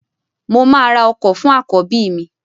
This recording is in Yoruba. Mo máa ra ọkọ fún àkọ́bí mi